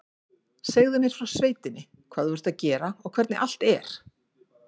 Segðu mér frá sveitinni, hvað þú ert að gera og hvernig allt er